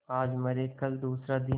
आज मरे कल दूसरा दिन